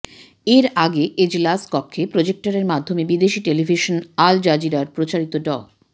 এর আগে এজলাস কক্ষে প্রজেক্টরের মাধ্যমে বিদেশি টেলিভিশন আল জাজিরায় প্রচারিত ড